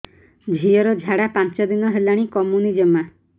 ଝିଅର ଝାଡା ପାଞ୍ଚ ଦିନ ହେଲାଣି କମୁନି ଜମା